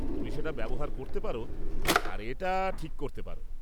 তুমি সেটা ব্যবহার করতে পার আর এটা ঠিক করতে পার।